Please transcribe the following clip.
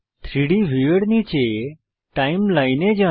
3ডি ভিউয়ের নীচে টাইমলাইনে যান